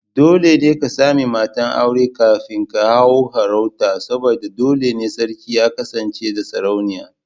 Dole ne ka sami matar aure kafin ka hau sarauta saboda dole ne sarki ya kasance da Sarauniya.